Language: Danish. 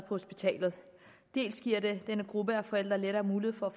hospitalet dels giver det denne gruppe af forældre lettere mulighed for at